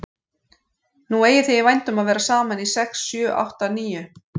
Nú eigið þið í vændum að vera saman í sex sjö átta níu